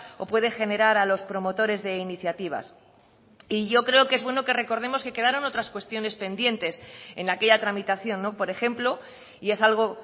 o puede generar a los promotores de iniciativas y yo creo que es bueno que recordemos que quedaron otras cuestiones pendientes en aquella tramitación por ejemplo y es algo